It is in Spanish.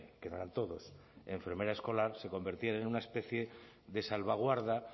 que no eran todos enfermera escolar se convertían en una especie de salvaguarda